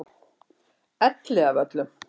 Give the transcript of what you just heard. Elliðavöllum